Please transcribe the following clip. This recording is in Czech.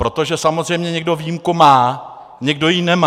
Protože samozřejmě někdo výjimku má, někdo ji nemá.